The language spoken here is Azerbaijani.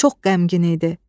Çox qəmgin idi.